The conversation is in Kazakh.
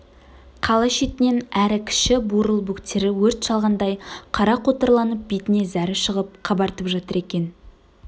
қала шетінен әрі кіші бурыл бөктері өрт шалғандай қара қотырланып бетіне зәрі шығып қабартып жатыр екен